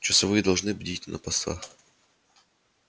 часовые должны неусыпно бдить на своих постах